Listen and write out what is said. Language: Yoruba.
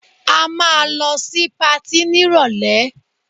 A máa lọ sí patí nírọ̀lẹ́